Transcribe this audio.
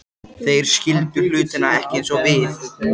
Þeir skildu hlutina ekki eins og við